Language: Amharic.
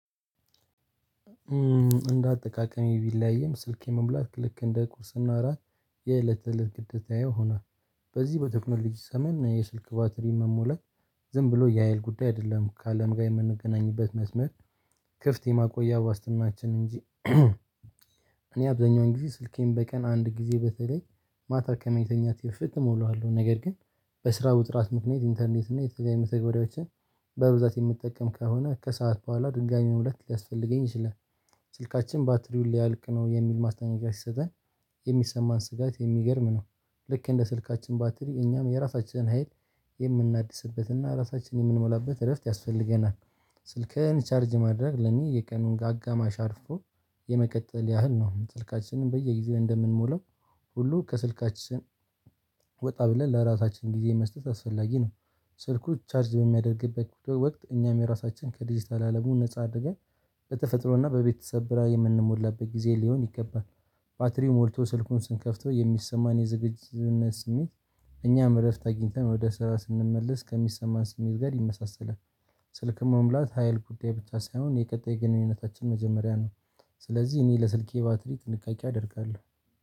እንደ አጠቃቀሚ ቢለያይም ስልኬ መሙላት ልክ እንደ ቁርስና እራት የእለት እለት ግዴታዬ ሆኗል። በዚህ በቴክኖሎጂ ዘመን የስልክ ባትሪ መሞላት ዝም ብሎ የሀይል ጉዳይ አይደለም ከአለም ጋር የምንገናኝበት መስመር ክፍት የማቆያ ዋስትናችን እንጂ። እኔ አብዛኛውን ጊዜ ስልኬን በቀን አንድ ጊዜ በተለይ ማታ ከመተኛቴ በፊት እሞላዋለሁ። ነገር ግን። በስራ ውጥራት ምክንያት ኢንተርኔት እና የተለያዩ መተግበሪያዎችን በብዛት የምጠቀም ከሆነ ከሰአት በኋላ ድጋሚ መሙላት ሊያስፈልገኝ ይችላል። ስልካችን ባትሪውን ሊያልቅ ነው የሚል ማስጠንቀቅያ ሲሰጠን የሚሰማን ስጋት የሚገርም ነው። ልክ እንደ ስልካችን ባትሪ እኛም የራሳችንን ሀይል የምናድስበትና ራሳችንን የምንሞላበት እረፍት ያስፈልገናል። ስልክህን ቻርጅ ማድረግ ለኔ የቀኑን አጋማሽ አርፎ የመቀጠል ያህል ነው። ስልካችንን በየጊዜው እንደምንሞላው ሁሉ ከስልካችን ወጣ ብለን ለራሳችን ጊዜ መስጠት አስፈላጊ ነው። ሰልኩ ቻርጅ በሚያደርግበት ወቅት እኛም የራሳችን ከዲጂታል አለሙ ነፃ አድርገን በተፈጥሮና በቤተሰብ ብርሃን የምንሞላበት ጊዜ ሊሆን ይገባል። ባትሪው ሞልቶ ስልኩን ስንከፍተው የሚሰማን የዝግጅትነት ስሜት እኛም እረፍት አግኝተን ወደ ስራ ስንመለስ ከሚሰማን ስሜት ጋር ይመሳሰላል። ስልክም መሙላት ሀይል ጉዳይ ብቻ ሳይሆን የቀጣይ ግንኙነታችን መጀመሪያ ነው። ስለዚህ እኔ ለስልኬ ባትሪ ጥንቃቄ አደርጋለሁ።